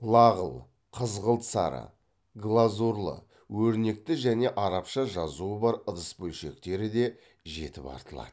лағыл қызғылт сары глазурлы өрнекті және арабша жазуы бар ыдыс бөлшектері де жетіп артылады